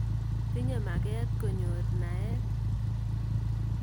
Tinye maket konyor naet.